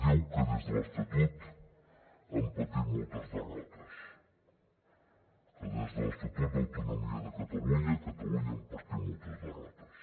diu que des de l’estatut hem patit moltes derrotes que des de l’estatut d’autonomia de catalunya a catalunya hem patit moltes derrotes